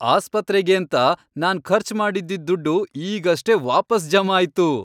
ಆಸ್ಪತ್ರೆಗೇಂತ ನಾನ್ ಖರ್ಚ್ ಮಾಡಿದ್ದಿದ್ ದುಡ್ಡು ಈಗಷ್ಟೇ ವಾಪಸ್ ಜಮಾ ಆಯ್ತು!